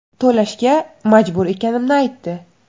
To‘lashga majbur ekanimni aytdi.